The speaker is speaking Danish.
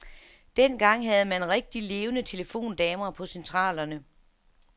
Dengang havde man rigtig levende telefondamer på centralerne.